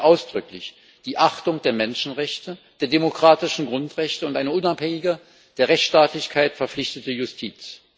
Dazu gehören ausdrücklich die Achtung der Menschenrechte und der demokratischen Grundrechte und eine unabhängige, der Rechtsstaatlichkeit verpflichtete Justiz.